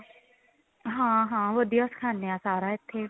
ਹਾਂ ਹਾਂ ਵਧੀਆਂ ਸਿਖਾਂਦੇ ਆ ਸਾਰਾ ਇੱਥੇ